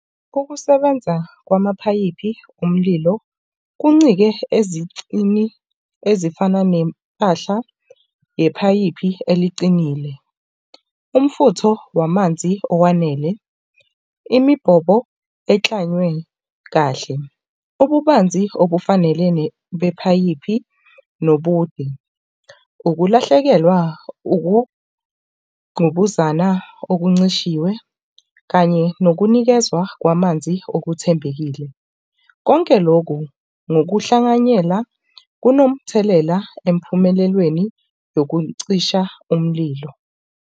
Ukusebenza kwamaphayiphi omlilo kuncike ezicini ezifana nempahla yephayipi eliqinile. Umfutho wamanzi owanele, imibhobo eklanywe kahle. Ububanzi obufanelene bephayiphi nobude. Ukulahlekelwa, ukungqubuzana okuncisishiwe kanye nokunikezwa kwamanzi okuthembekile, konke loku ngokuhlanganyela kunomthelela empumelelweni yokucisha umlilo.